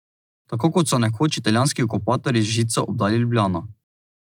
Tako kot so nekoč italijanski okupatorji z žico obdali Ljubljano ...